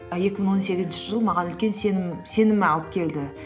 а екі мың он сегізінші жыл маған үлкен сенім алып келді